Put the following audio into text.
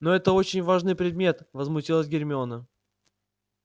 но это очень важный предмет возмутилась гермиона